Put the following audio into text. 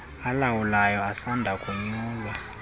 alawulayo asanda konyulwa